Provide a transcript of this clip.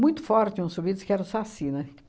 Muito forte uns subidos que era o Saci, né?